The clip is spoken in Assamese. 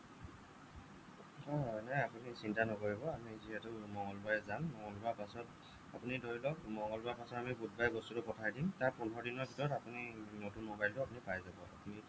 হ'য় হ'য় নাই আপুনি চিন্তা নকৰিব আমি যিহেতু মঙ্গলবাৰে যাম মঙ্গলবাৰৰ পাছত আপুনি ধৰি লওঁক মঙলবাৰৰ পাছত আমি বুধবাৰে বস্তুটো পঠাই দিম তাত পোন্ধৰ দিনৰ ভিতৰত আপুনি নতুন মোবাইলটো পাই যাব